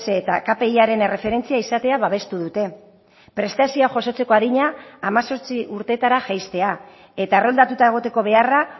eta kpiaren erreferentzia izatea babestu dute prestazioa jasotzeko adina hemezortzi urtetara jaistea eta erroldatuta egoteko beharra